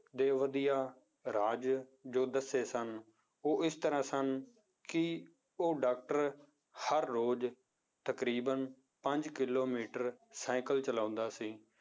ਦੇ ਵਧੀਆ ਰਾਜ ਜੋ ਦੱਸੇ ਸਨ ਉਹ ਇਸ ਤਰ੍ਹਾਂ ਸਨ ਕਿ ਉਹ doctor ਹਰ ਰੋਜ਼ ਤਕਰੀਬਨ ਪੰਜ ਕਿੱਲੋਮੀਟਰ ਸਾਇਕਲ ਚਲਾਉਂਦਾ ਸੀ